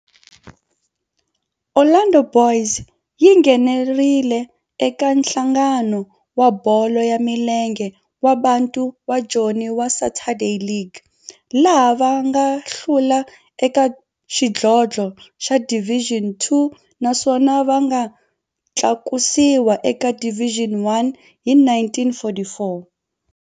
Orlando Boys yi nghenelerile eka Nhlangano wa Bolo ya Milenge wa Bantu wa Joni wa Saturday League, laha va nga hlula eka xidlodlo xa Division Two naswona va nga tlakusiwa eka Division One hi 1944.